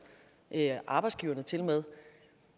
arbejdsgiverne til og med